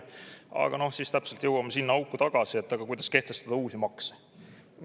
Aga siis me jõuame täpselt sinna auku tagasi, et kuidas kehtestada uusi makse.